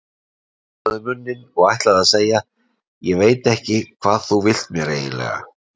Hann opnaði munninn og ætlaði að segja: Ég veit ekki hvað þú vilt mér eiginlega.